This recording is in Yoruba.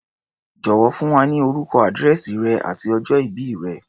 Jọ̀wọ́, fún wa ní orúkọ, àdírẹ̀sì rẹ àti ọjọ ìbí rẹ̀.